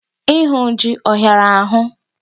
Ịhụ jị ọhịara ahụ?